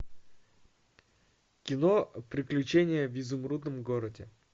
кино приключения в изумрудном городе